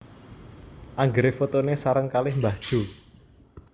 Anggere fotone sareng kalih mbah Jo